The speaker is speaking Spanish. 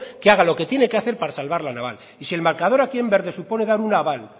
que haga lo que tiene que hacer para salvar la naval y si el marcador aquí en verde supone dar un aval